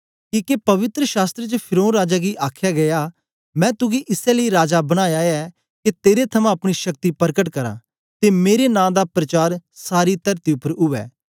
किके पवित्र शास्त्र च फिरौन राजा गी आखया गीया मैं तुगी इसै लेई राजा बनाया ऐ के तेरे थमां अपनी शक्ति परकट करां ते मेरे नां दा प्रचार सारी तरती उपर उवै